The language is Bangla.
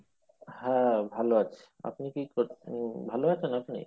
হ্যাঁ ভালো আছি আপনি কি করেছেন ভালো আছেন আপনি